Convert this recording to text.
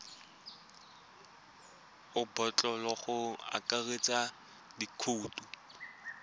ka botlalo go akaretsa dikhoutu